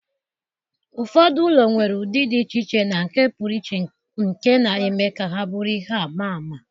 Ụfọdụ ụlọ nwere ụdị dị iche iche na nke pụrụ iche nke na-eme ka ha bụrụ ihe ama ama